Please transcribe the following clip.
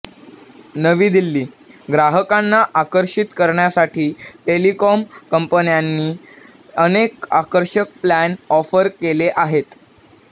नवी दिल्लीः ग्राहकांना आकर्षित करण्यासाठी टेलिकॉम कंपन्यांनी अनेक आकर्षक प्लान ऑफर केले आहेत